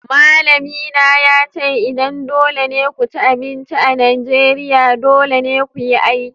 Malamina ya ce idan dole ne ku ci abinci a Najeriya, dole ne ku yi aiki.